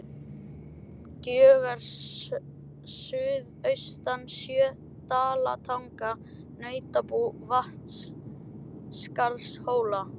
Gjögur suðaustan sjö, Dalatanga, Nautabú, Vatnsskarðshóla.